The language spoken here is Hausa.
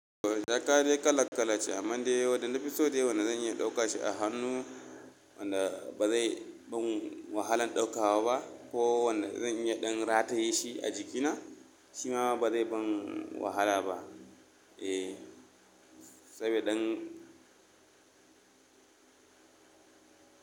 Jaka dai kala kala ce amma dai wanda nafi so dai wanda zan iya dauka shi a hannu wanda ba zai mun wahalan ɗauka ba ba ko wanda zan iya ɗan rataye shi a jikina shima ba zai bin wahala ba. Eh, saboda dan.